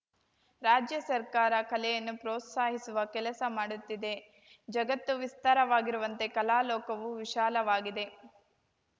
ರಾಜ್ಯ ಸರ್ಕಾರ ಕಲೆಯನ್ನು ಪ್ರೋತ್ಸಾಹಿಸುವ ಕೆಲಸ ಮಾಡುತ್ತಿದೆ ಜಗತ್ತು ವಿಸ್ತಾರವಾಗಿರುವಂತೆ ಕಲಾ ಲೋಕವೂ ವಿಶಾಲವಾಗಿದೆ